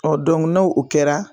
no o kɛra